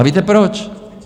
A víte proč?